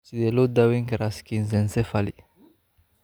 Sidee loo daweyn karaa schizencephaly?